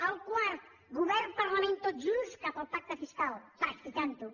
el quart govern parlament tots junts cap al pacte fiscal practicant ho